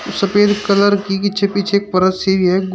सफेद कलर की पीछे पीछे एक परत सी है।